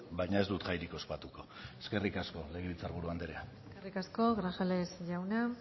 baina ez dut jairik ospatuko eskerrik asko legebiltzar buru anderea eskerrik asko grajales jauna